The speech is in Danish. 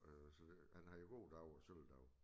Øh så det han har jo gode dage og sølle dage